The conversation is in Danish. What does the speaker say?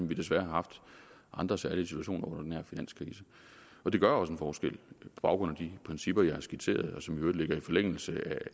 vi desværre har haft andre særlige situationer under den her finanskrise og det gør også en forskel på baggrund af de principper jeg har skitseret og som jo i øvrigt ligger i forlængelse